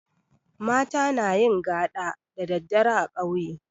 Mata nayin gaɗa da daddare a ƙauye